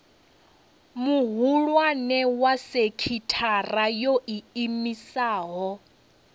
muhulwane wa sekithara yo iimisaho